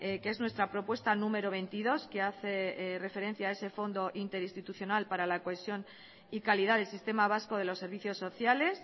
que es nuestra propuesta número veintidós que hace referencia a ese fondo interinstitucional para la cohesión y calidad del sistema vasco de los servicios sociales